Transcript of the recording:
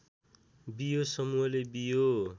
बियो समूहले बियो